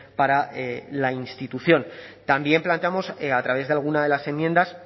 para la institución también planteamos a través de alguna de las enmiendas